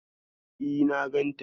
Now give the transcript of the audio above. E, na ganta.